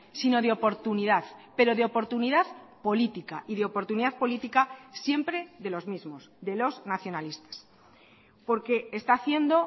sino de oportunidad pero de oportunidad política y de oportunidad política siempre de los mismos de los nacionalistas porque está haciendo